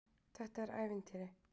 Þetta er ævintýri.